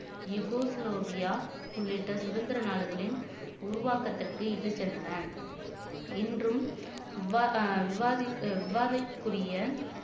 இகூஸ் லோவியா உள்ளிட்ட சுதந்திர நாடுகளின் உருவாக்கத்திற்கு இட்டுச் சென்றனர் இன்றும் விவாக விவாதி விவாதிக்கூறிய